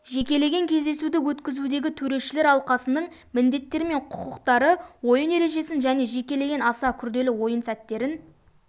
жекелеген кездесуді өткізудегі төрешілер алқасының міндеттері мен құқықтары ойын ережесін және жекелеген аса күрделі ойын сәттерін